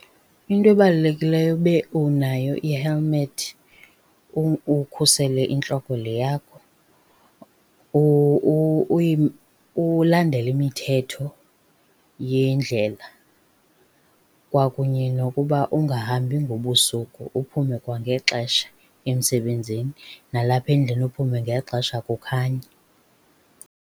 Into ebalulekileyo ube unayo ihelimethi ukhusele intloko le yakho, ulandele imithetho yendlela kwakunye nokuba ungahambi ngobusuku uphume kwangexesha emsebenzini nalapha endlini uphume ngexesha kukhanya.